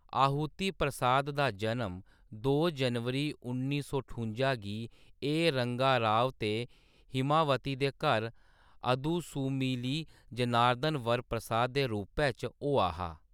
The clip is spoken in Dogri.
आहुति प्रसाद दा जनम दो जनवरी उन्नी सौ ठुंजा गी ए.रंगा राव ते हिमावती दे घर अदुसुमिली जनार्दन वर प्रसाद दे रूपै च होआ हा।